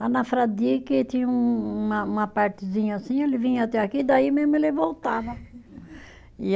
Lá na Fradique tinha um uma, uma partezinha assim, ele vinha até aqui, daí mesmo ele voltava. e